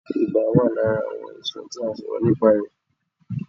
Ibà wà lára àwọn àìsàn tí a ó sọ̀rọ̀ nìpa rẹ̀